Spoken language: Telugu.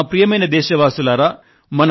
సోదర సోదరీమణులారా